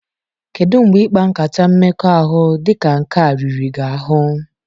Kedu mgbe ịkpa nkata mmekọahụ dị ka nke a riri gị ahụ?